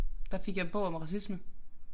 Der fik jeg bog om racisme